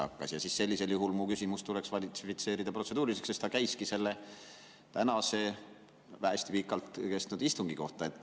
Nii et sellisel juhul mu küsimus tuleks kvalifitseerida protseduuriliseks, sest ta käiski tänase, juba hästi pikalt kestnud istungi kohta.